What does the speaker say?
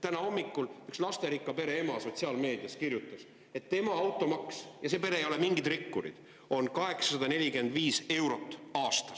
Täna hommikul kirjutas üks lasterikka pere ema – selles peres ei ole mingid rikkurid – sotsiaalmeedias, et tema automaks on 845 eurot aastas.